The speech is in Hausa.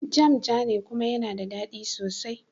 Jam jane kuma yana da dadi.